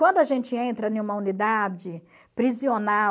Quando a gente entra em uma unidade